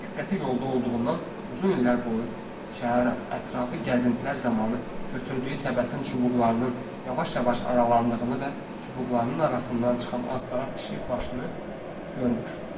Diqqəti yolda olduğundan uzun illər boyu şəhər ətrafı gəzintilər zamanı götürdüyü səbətin çubuqlarının yavaş-yavaş aralandığını və çubuqlarının arasından çıxan ağ qara pişik başını görmür.